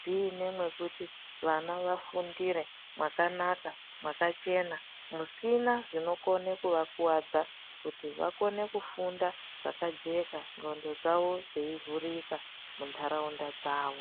dziine mwekuti muine mwekuti vana vafundire mwakanaka, mwakachena musina zvinokone kuvakuwadza kuti vakone kufunda zvakajeka ngondo dzawo dzeivhurika munharaunda dzawo.